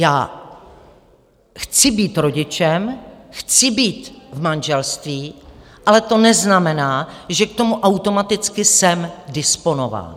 Já chci být rodičem, chci být v manželství, ale to neznamená, že k tomu automaticky jsem disponován.